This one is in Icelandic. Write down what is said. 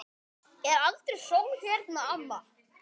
Er aldrei sól hérna, amma?